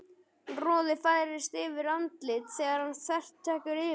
Roði færist yfir andlitið þegar hann þvertekur fyrir það.